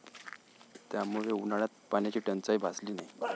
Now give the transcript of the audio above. त्यामुळे उन्हाळ्यात पाण्याची टंचाई भासली नाही.